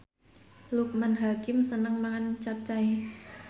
Loekman Hakim seneng mangan capcay